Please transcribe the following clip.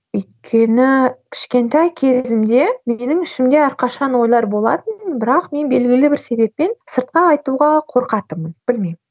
өйткені кішкентай кезімде менің ішімде әрқашан ойлар болатын бірақ мен белгілі бір себеппен сыртқа айтуға қорқатынмын білмеймін